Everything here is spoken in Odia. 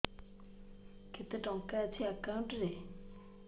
କେତେ ଟଙ୍କା ଅଛି ଏକାଉଣ୍ଟ୍ ରେ